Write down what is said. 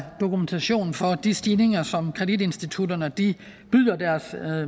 dokumentation for de stigninger som kreditinstitutterne byder deres